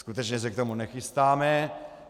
Skutečně se k tomu nechystáme.